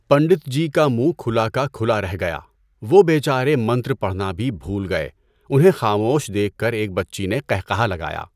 پنڈتجی کا منہ کھلا کا کھلا رہ گیا، وہ بے چارے منتر پڑھنا بھی بھول گئے، انہیں خاموش دیکھ کر ایک بچی نے قہقہہ لگایا۔